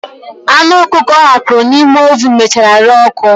Anụ ọkụkọ ọ hapụrụ n'ime ovunu mechara ree ọ́kụ́.